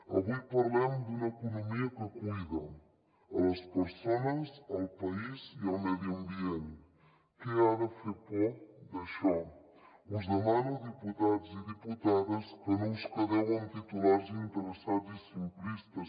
avui parlem d’una economia que cuida les persones el país i el medi ambient què ha de fer por d’això us demano diputats i diputades que no us quedeu en titulars interessats i simplistes